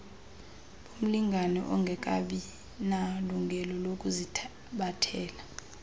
bomlingane ongekabinalungelo lokuzithabathela